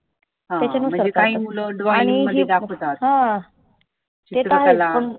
हं म्हणजे काही मुलं drawing मध्ये दाखवतात, चित्रकला